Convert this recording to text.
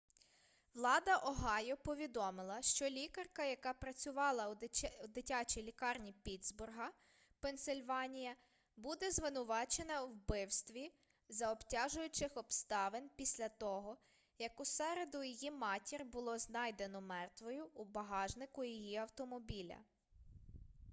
влада огайо повідомила що лікарка яка працювала у дитячій лікарні піттсбурга пенсильванія буде звинувачена у вбивстві за обтяжуючих обставин після того як у середу її матір було знайдено мертвою у багажнику її автомобіля